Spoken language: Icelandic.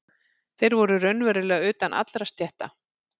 Þeir voru raunverulega utan allra stétta.